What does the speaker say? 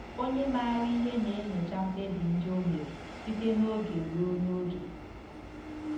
Onye maara ihe na-enyocha mkpebi ndị o mere site n'oge ruo n'oge.